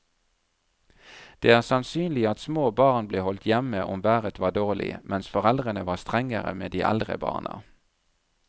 Det er sannsynlig at små barn ble holdt hjemme om været var dårlig, mens foreldrene var strengere med de eldre barna.